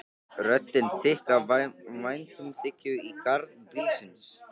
Röddin þykk af væntumþykju í garð bílsins.